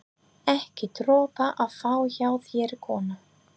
Ekki dropa að fá hjá þeirri konu.